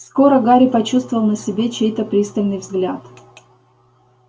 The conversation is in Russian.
скоро гарри почувствовал на себе чей-то пристальный взгляд